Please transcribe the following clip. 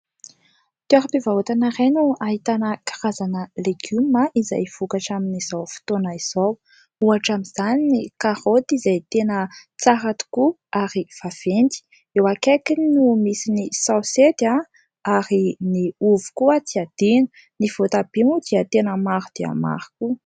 Toearam-pivarotana iray no ahitana karazana legioma izay vokatra amin'izao fotoana izao, ohatra amin'izany ny karaoty izay tena tsara tokoa ary vaventy ,eo akaikiny no misy ny saosety a ary ny ovy koa tsy adino ny voatabia moa dia tena maro dia maro .